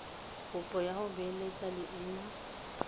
kopo ya go beeletsa leina